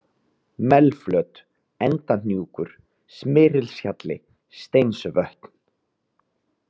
Melflöt, Endahnjúkur, Smyrilshjalli, Steinsvötn